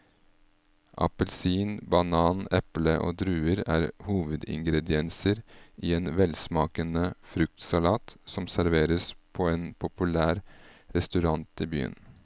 Appelsin, banan, eple og druer er hovedingredienser i en velsmakende fruktsalat som serveres på en populær restaurant i byen.